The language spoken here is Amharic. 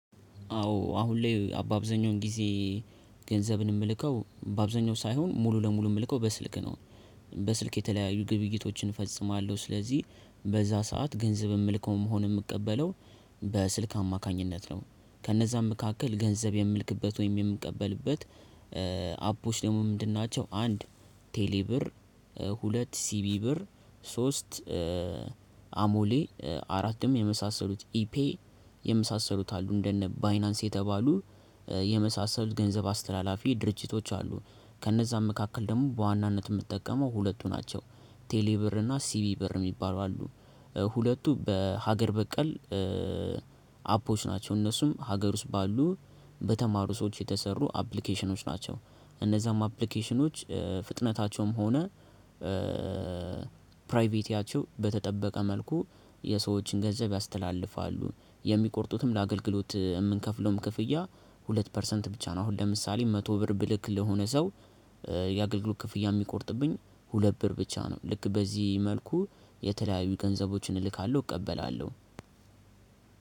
አዎ አሁን ላይ በአብዛኛው ጊዜ ገንዘብን የምልከው በአብዛኛው ሳይሆን ሙሉ ለሙሉ የምልከው በስልክ ነው። በስልክ የተለያዩ ግብይቶችን እፈጽማለሁ ስለዚህ በዛ ሰዓት ገንዘብ የምልከውን ሆነ የምቀበለው። በስልክ አማካኝነት ነው ከነዛም መካከል ገንዘብ የምልክበት ወይም የምቀበልበት አፖች ደግሞ ምንድን ናቸው? አንድ ቴሌ ብር ሁለት ሲቢኢ ብር ሶስት አሞሌ አራትም የመሳሰሉት ኢፔ የመሳሰሉት አሉ እንደነ ባይናንስ የተባሉ የመሳሰሉት ገንዘብ አስተላላፊ ድርጅቶች አሉ። ከነዛም መካከል ደግሞ በዋናነት የምትጠቀመው ሁለቱ ናቸው። ቴሌ ብር እና ሲቢኢ ብር የሚባሉ አሉ። ሁለቱ በሀገር በቀል አፖች ናቸው። እነሱም ሀገር ውስጥ ባሉ በተማሩ ሰዎች የተሰሩ አፕሊኬሽኖች ናቸው። እነዛም አፕሊኬሽኖች ፍጥነታቸውም ሆነ ፕራይቬቲያቸው በተጠበቀ መልኩ የሰዎችን ገንዘብ ያስተላልፋሉ። የሚቆርጡትም ለአገልግሎት የምንከፍለውም ክፍያ ሁለት ፐርሰንት ብቻ ነው። አሁን ለምሳሌ መቶ ብር ብልክ ለሆነ ሰው የአገልግሎት ክፍያ የሚቆርጥብኝ ሁለት ብር ብቻ ነው። ልክ በዚህ መልኩ የተለያዩ ገንዘቦችን እልካለሁ እቀበላለሁ።